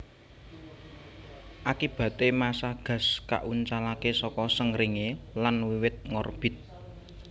Akibaté massa gas kauncalaké saka Srengéngé lan wiwit ngorbit